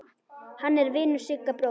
Hann er vinur Sigga bróður.